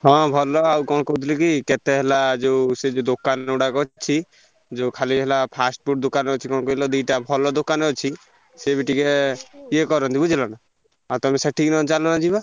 ହଁ ଭଲ ଆଉ କଣ କହୁଥିଲି କି କେତେ ହେଲା ଯୋଉ ସେଇ ଯୋଉ ଦୋକାନ ଗୁଡାକ ଅଛି ଯୋଉ ଖାଲି ହେଲା fast food ଦୋକାନ ଅଛି କଣ କହିଲ ଦିଟା ଭଲ ଦୋକାନ ଅଛି, ସିଏବି ଟିକେ ୟେ କରନ୍ତି ବୁଝିଲନା। ଆଉ ତମେ ସେଠିକି ଚାଲୁନ ଯିବା?